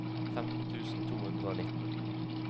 femten tusen to hundre og nitten